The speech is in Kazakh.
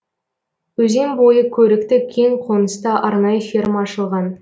өзен бойы көрікті кең қоныста арнайы ферма ашылған